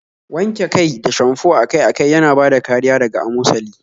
Wanke kai da shamfo akai-akai yana bada kariya daga amosali